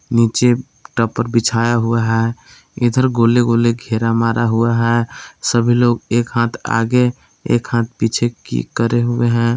नीचे टपर बिछाया हुआ है इधर गोले गोले घेरा मारा हुआ है सभी लोग एक हाथ आगे एक हाथ पीछे की करे हुए हैं।